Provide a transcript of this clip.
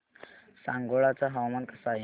सांगोळा चं हवामान कसं आहे